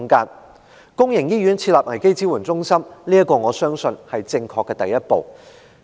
在公營醫院設立危機支援中心，我相信是正確的第一步。